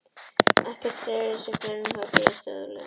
Ekkert þeirra hreyfði sig fyrr en þung högg leystu þau úr læðingi.